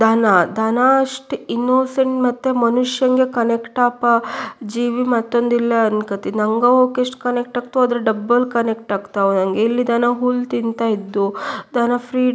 ದನ ದನ ಅಷ್ಟು ಇನ್ನೋಸೆಂಟ್ ಮತ್ತೆ ಮನುಷ್ಯಂಗೆ ಕನೆಕ್ಟ್ ಆಪ ಜೀವಿ ಮತ್ತೊಂದಿಲ್ಲ ಅನ್ಕೋತೀನಿ. ನಂಗೆ ಏಕೆ ಇಷ್ಟು ಕನೆಕ್ಟ್ ಆಗುತ್ತೋ ಅದರ ಡಬಲ್ ಕನೆಕ್ಟ್ ಆಗ್ತಾವೆ ನಂಗೆ. ಇಲ್ಲಿ ದನ ಹುಲ್ಲು ತಿಂತಾ ಇದ್ವು ದನ ಫೀಡ್ --